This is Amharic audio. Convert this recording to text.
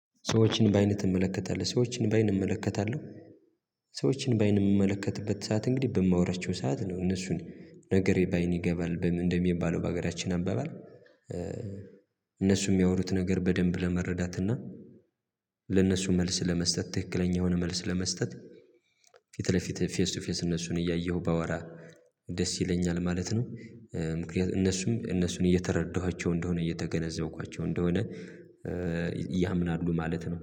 ሰዎችን በአይንህ እመለከታለሁ ሰዎችን በአይን እመለከታለሁ። ሰዎችን በአይን የምመለከትበት ሰዓት እንግዲህ በማወራቸው ሰዓት ነው እነሱን ነገር ባይን ይገባል እንደሚባለው በሀገራችን አንብበን እነሱ የሚያወሩት ነገር በደንብ ለመረዳትና ለነሱ መልስ ለመስጠት ትክክለኛ የሆነ መልስ ለመስጠት ፊት ለፊት ፌስ ቱ ፌስ እነሱን እያየሁ ባወራ ደስ ይለኛል ማለት ነው። ምክንያቱም እነሱም እነሱን እየተረዳኋቸው እንደሆነ እየተገነዘብኳቸው እንደሆነ ያምናሉ ማለት ነው